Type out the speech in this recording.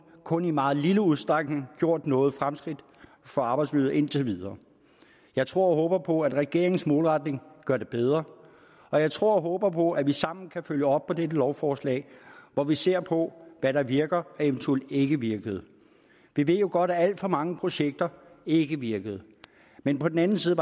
kun i meget lille udstrækning gjort nogen fremskridt for arbejdsmiljøet indtil videre jeg tror og håber på at regeringens målretning gør det bedre og jeg tror og håber på at vi sammen kan følge op på dette lovforslag hvor vi ser på hvad der virker og eventuelt ikke virker vi ved jo godt at alt for mange projekter ikke virker men på den anden side